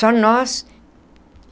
Só nós.